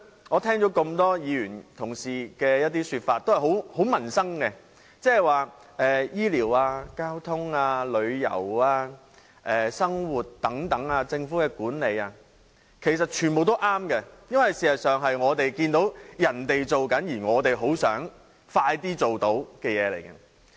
我聽到多位議員的說法也和民生息息相關，即醫療、交通、旅遊、生活和政府管理等，其實全部也正確，因為事實上，這些是我們看到其他地區已經做到，而我們很想盡快做到的事情。